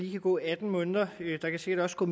kan gå atten måneder der kan sikkert også gå